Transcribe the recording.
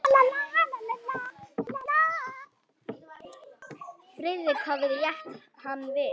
Friðrik hafði rétt hann við.